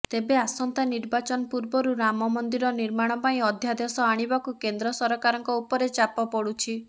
ତେବେ ଆସନ୍ତା ନିର୍ବାଚନ ପୂର୍ବରୁ ରାମମନ୍ଦିର ନିର୍ମାଣ ପାଇଁ ଅଧ୍ୟାଦେଶ ଆଣିବାକୁ କେନ୍ଦ୍ର ସରକାରଙ୍କ ଉପରେ ଚାପ ପଡ଼ୁଛି